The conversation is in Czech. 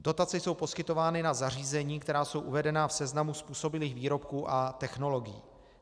Dotace jsou poskytovány na zařízení, která jsou uvedena v seznamu způsobilých výrobků a technologií.